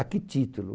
A que título?